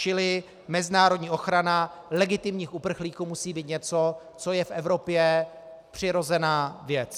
Čili mezinárodní ochrana legitimních uprchlíků musí být něco, co je v Evropě přirozená věc.